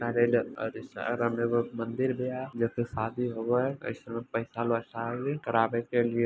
स रे सारे में एगो मंदिर बिया जो की शादी होवा हई कैसुउ बैठल हई शादी करावे के लिए --